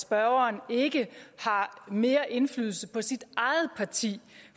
spørgeren ikke har mere indflydelse i sit eget parti